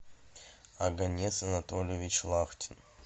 оганес анатольевич лахтин